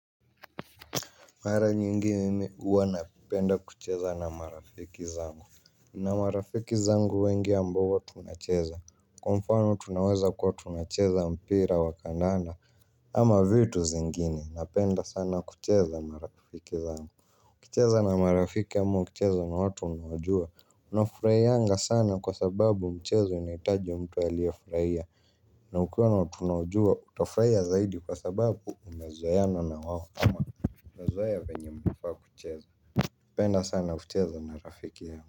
Mara nyingi mimi huwa napenda kucheza na marafiki zangu. Na marafiki zangu wengi ambao tunacheza kwa mfano tunaweza kwa tunacheza mpira wa kandana. Ama vitu zingine napenda sana kucheza na marafiki zangu ukicheza na marafiki ama ukicheza na watu unawajua. Unafurahianga sana kwa sababu mchezo unahitaji mtu aliyefurahia. Na ukiwa na watu unawajua utafurahia zaidi kwa sababu umezoeana na wao. Kama na zoea venye mnfaa kucheza napenda sana kucheza na rafiki yangu.